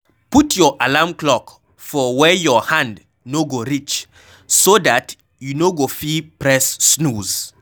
Put your alarm clock for where your hand no go reach so dat you no go fit press snooze